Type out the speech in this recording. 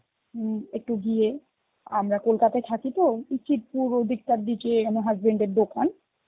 উম একটু গিয়ে, আমরা কলকাতায় থাকি তো উচিতপুর ওই দিককার দিকে আমার husband এর দোকান.